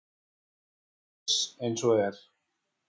Ég er ekki viss eins og er.